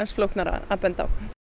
flóknara að benda á